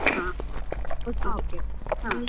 ಹ ಒಟ್ಟಿಗೆ.